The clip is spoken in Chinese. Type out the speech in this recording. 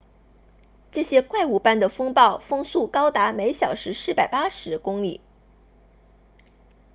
这些怪物般的风暴风速高达每小时480公里133 m/s 300 mph